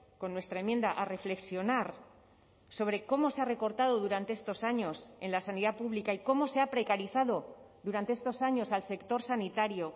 con nuestra enmienda a reflexionar sobre cómo se ha recortado durante estos años en la sanidad pública y cómo se ha precarizado durante estos años al sector sanitario